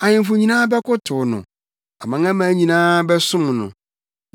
Ahemfo nyinaa bɛkotow no, amanaman nyinaa bɛsom no.